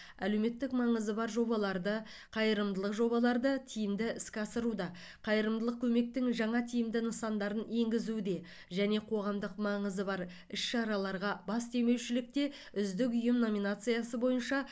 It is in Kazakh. әлеуметтік маңызы бар жобаларды қайырымдылық жобаларды тиімді іске асыруда қайырымдылық көмектің жаңа тиімді нысандарын енгізуде және қоғамдық маңызы бар іс шараларға бас демеушілікте үздік ұйым номинациясы бойынша